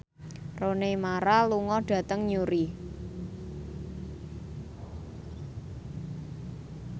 Rooney Mara lunga dhateng Newry